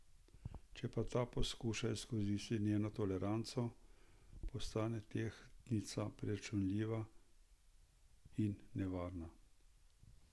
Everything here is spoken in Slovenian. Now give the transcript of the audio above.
Če pa ta poskuša izkoristiti njeno toleranco, postane tehtnica preračunljiva in nevarna.